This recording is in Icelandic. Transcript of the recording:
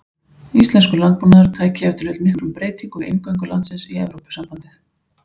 Íslenskur landbúnaður tæki ef til vill miklum breytingum við inngöngu landsins í Evrópusambandið.